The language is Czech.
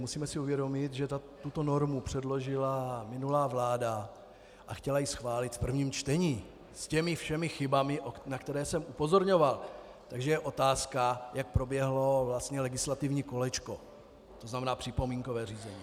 Musíme si uvědomit, že tuto normu předložila minulá vláda a chtěla ji schválit v prvním čtení s těmi všemi chybami, na které jsem upozorňoval, takže je otázka, jak proběhlo vlastně legislativní kolečko, to znamená připomínkové řízení.